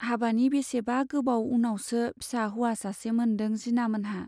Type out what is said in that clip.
हाबानि बेसेबा गोबाव उनावसो फिसा हौवा सासे मोनदों जिनामोनहा।